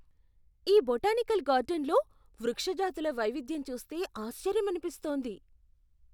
ఈ బొటానికల్ గార్డెన్లో వృక్ష జాతుల వైవిధ్యం చూస్తే ఆశ్చర్యమనిపిస్తోంది!